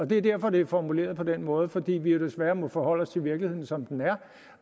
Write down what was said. det er derfor det er formuleret på den måde for vi må jo desværre forholde os til virkeligheden som den er